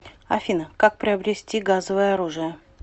афина как приобрести газовое оружие